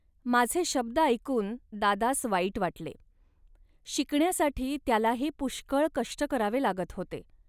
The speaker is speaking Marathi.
.माझे शब्द ऐकून दादास वाईट वाटले. शिकण्यासाठी त्यालाही पुष्कळ कष्ट करावे लागत होते